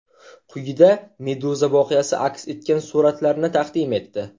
Quyida Meduza voqea aks etgan suratlarni taqdim etdi .